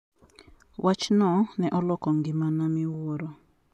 Wachno ne oloko ngimana miwuoro.